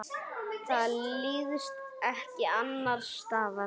Það líðst ekki annars staðar.